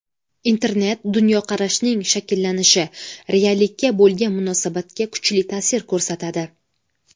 Internet dunyoqarashning shakllanishi, reallikka bo‘lgan munosabatga kuchli ta’sir ko‘rsatadi.